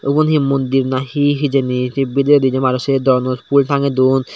ubon hi mondir nahi hijeni se bidiredi je maney se don boxo tange ton.